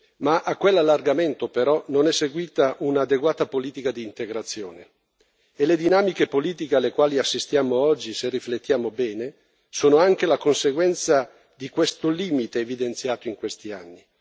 Ma a quell'allargamento però non è seguita un'adeguata politica di integrazione e le dinamiche politiche alle quali assistiamo oggi, se riflettiamo bene, sono anche la conseguenza di questo limite evidenziato in questi anni.